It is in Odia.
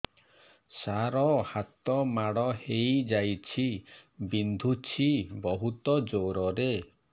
ସାର ହାତ ମାଡ଼ ହେଇଯାଇଛି ବିନ୍ଧୁଛି ବହୁତ ଜୋରରେ